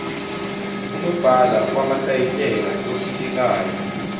unobhala wamatayitela othintekayo